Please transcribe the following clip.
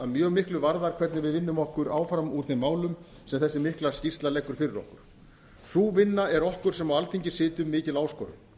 mjög miklu varðar hvernig við vinnum okkur áfram úr þeim málum sem þessi mikla skýrsla leggur fyrir okkur sú vinna er okkur sem á alþingi sitjum mikil áskorun